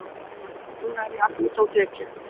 Núna er ég alveg úti á þekju.